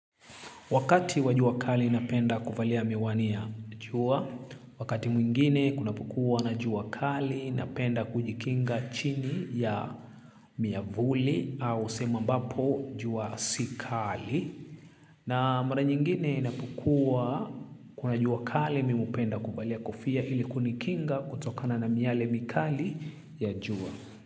Wakati wa jua kali ninapenda kuvalia miwani ya jua, wakati mwingine kunapokua na jua kali napenda kujikinga chini ya miavuli au sehemu ambapo jua si kali. Na mara nyingine inapokuwa kuna jua kali mimi hupenda kuvalia kofia ili kunikinga kutokana na miale mikali ya jua.